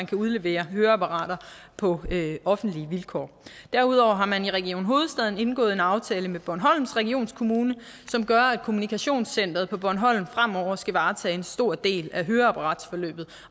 kan udlevere høreapparater på offentlige vilkår derudover har man i region hovedstaden indgået en aftale med bornholms regionskommune som gør at kommunikationscenter bornholm fremover skal varetage en stor del af høreapparatsforløbet